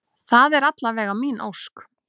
Það er alla vega mín ósk.